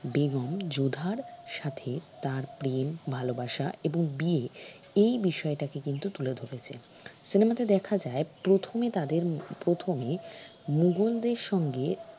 বেগম যোধার সাথে তার প্রেম ভালবাসা এবং বিয়ে এই বিষয়টাকে কিন্তু তুলে ধরেছে cinema তে দেখা যায় প্রথমে তাদের প্রথমে মুগলদের সঙ্গে